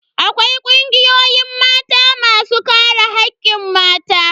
Akwai kungiyoyin Mata masu kare hakkin mata.